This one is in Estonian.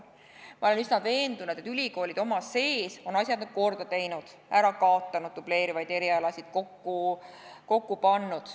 Ma olen üsna veendunud, et ülikoolid oma sees on asjad nüüd korda teinud, dubleerivaid erialasid ära kaotanud, kokku pannud.